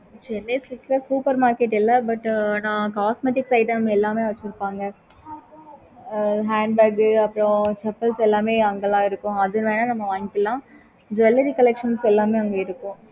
okay mam